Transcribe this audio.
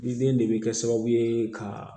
Ni den de bɛ kɛ sababu ye ka